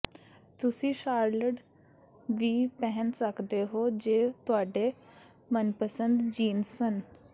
ਤੁਸੀਂ ਸ਼ਾਰਲਡ ਵੀ ਪਹਿਨ ਸਕਦੇ ਹੋ ਜੋ ਤੁਹਾਡੇ ਮਨਪਸੰਦ ਜੀਨਸ ਸਨ